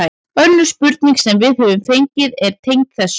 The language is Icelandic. Önnur spurning sem við höfum fengið er tengd þessu: